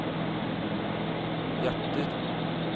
hjerter